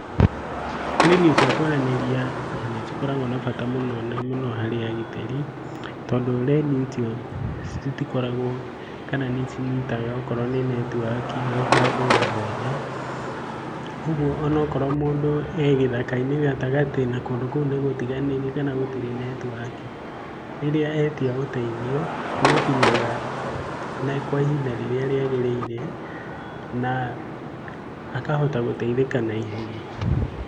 Rendio cia kwaranĩria nĩ ikoragwo na bata mũno harĩ agitĩri, tondũ rendio icio citikoragwo kana nĩ cinyitaga okorwo nĩ netiwaki o handũ o hothe. Koguo onakorwo mũndũ e githaka-inĩ gatagatĩ na kũndũ kũu nĩ gũtiganĩrie kana gũtirĩ netiwaki. Rĩrĩa etia ũteithio ni ukinyaga kwa ihinda rĩrĩa rĩagĩrĩire na akahota gũteithĩka na ihenya.